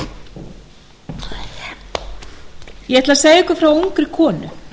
ég ætla að segja ykkur frá ungri konu